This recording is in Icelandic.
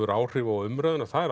áhrif á umræðuna það er